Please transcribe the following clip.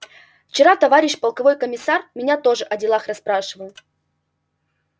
вчера товарищ полковой комиссар меня тоже о делах расспрашивал